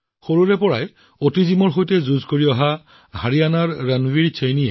সৰুৰে পৰা অটিজিম ৰোগত আক্ৰান্ত ৰণবীৰৰ বাবে কোনো প্ৰত্যাহ্বানেই গল্ফৰ প্ৰতি থকা আকৰ্ষণ হ্ৰাস কৰিব নোৱাৰিলে